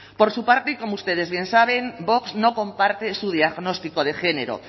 por su parte como ustedes bien saben vox no comparte su diagnóstico de género